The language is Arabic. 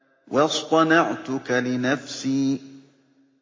وَاصْطَنَعْتُكَ لِنَفْسِي